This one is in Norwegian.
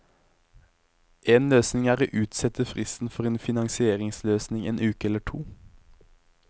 En løsning er å utsette fristen for en finansieringsløsning en uke eller to.